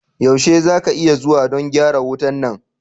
Yaushe za ka iya zuwa don gyara wuta na?